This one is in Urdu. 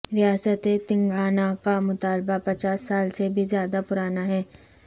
ریاست تنگانہ کا مطالبہ پچاس سال سے بھی زیادہ پرانا ہے